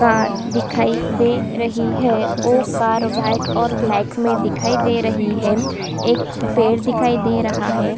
car दिखाई दे रही है वो कार वाइट और ब्लैक में दिखाई दे रही है एक पेड़ दिखाई दे रहा है |